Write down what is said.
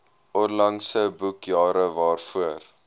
onlangse boekjare waarvoor